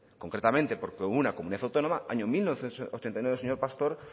concretamente porque hubo comunidad autónoma año mil novecientos ochenta y nueve señor pastor